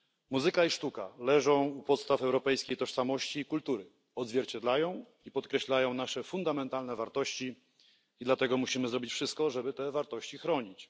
Muzyka i sztuka leżą u podstaw europejskiej tożsamości i kultury, odzwierciedlają i podkreślają nasze fundamentalne wartości i dlatego musimy zrobić wszystko, żeby te wartości chronić.